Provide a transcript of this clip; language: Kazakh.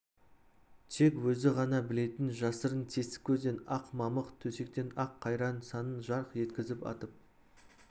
тек өзі ғана білетін жасырын тесік көзден ақ мамық төсектен ақ қайран санын жарқ еткізіп атып